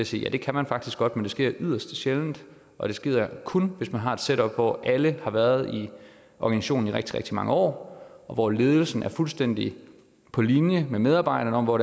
sige ja det kan man faktisk godt men det sker yderst sjældent og det sker kun hvis man har et setup hvor alle har været i organisationen i rigtig rigtig mange år og hvor ledelsen er fuldstændig på linje med medarbejderne om hvor